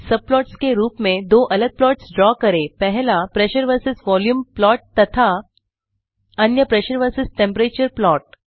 subplots के रूप में दो अलग प्लॉट्स ड्रा करें पहला प्रेशर वर्सस वोल्यूम प्लॉट तथा अन्य प्रेशर वर्सस टेम्परेचर प्लॉट